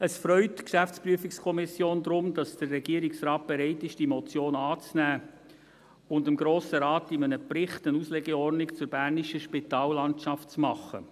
Es freut die GPK daher, dass der Regierungsrat bereit ist, diese Motion anzunehmen und dem Grossen Rat in einem Bericht eine Auslegeordnung zur bernischen Spitallandschaft zu machen.